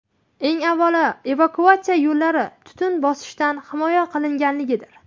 Eng avvalo, evakuatsiya yo‘llari tutun bosishidan himoya qilinganligidir.